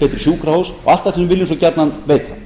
betri sjúkrahús og allt það sem við viljum gjarnan veita